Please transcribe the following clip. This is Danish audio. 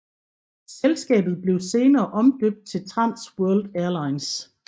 Selskabet blev senere omdøbt til Trans World Airlines